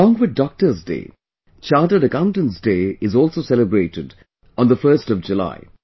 along with Doctors Day, Chartered Accountants Day is also celebrated on the 1st of July